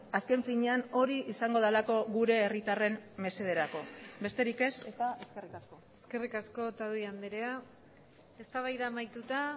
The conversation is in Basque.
azken finean hori izango delako gure herritarren mesederako besterik ez eta eskerrik asko eskerrik asko otadui andrea eztabaida amaituta